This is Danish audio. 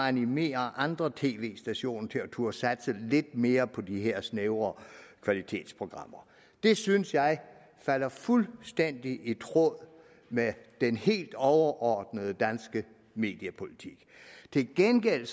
animere andre tv stationer til at turde satse lidt mere på de her snævre kvalitetsprogrammer det synes jeg falder fuldstændig i tråd med den helt overordnede danske mediepolitik til gengæld